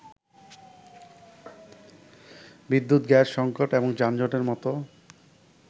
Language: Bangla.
বিদ্যুৎ, গ্যাস সংকট এবং যানজটের মত